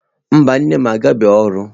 Mba, nne m agabeghị ọrụ.